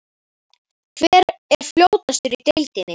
Hver er fljótastur í deildinni?